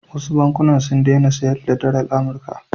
Wasu bankuna sun daina sayar da dalar Amurka.